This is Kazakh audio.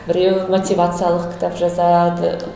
біреуі мотивациялық кітап жазады